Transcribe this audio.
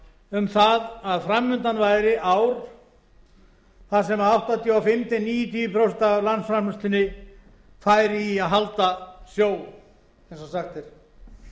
um það að fram undan væri ár þar sem áttatíu og fimm til níutíu prósent af landsframleiðslunni færi í að halda sjó eins og